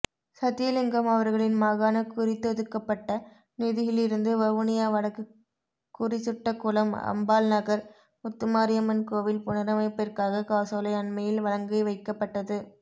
சத்தியலிங்கம் அவர்களின் மாகாண குறித்தொதுக்கப்பட்ட நிதியிலிருந்து வவுனியா வடக்கு குறிசுட்டகுளம் அம்பாள்நகர் முத்துமாரியம்மன் கோவில் புனரமைப்பிற்காக காசோலை அண்மையில் வழங்கிவைக்கப்பட்டது